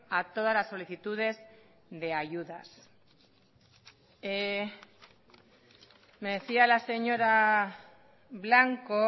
a todas las solicitudes de ayudas me decía la señora blanco